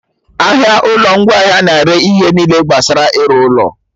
Ahịa ụlọ ngwaahịa na-ere ihe niile gbasara ịrụ ụlọ